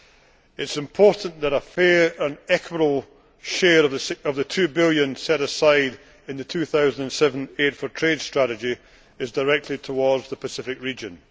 It is important that a fair and equitable share of the EUR 2 billion set aside in the 2007 Aid for Trade strategy is directed towards the Pacific region.